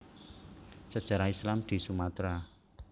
Sejarah Islam di Sumatera